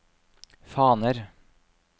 faner